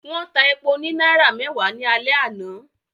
Wọ́n ta epo ní náírà mẹ́wàá ní alẹ́ àná